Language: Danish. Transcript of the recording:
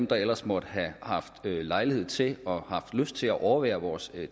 der ellers måtte have haft lejlighed til og lyst til at overvære vores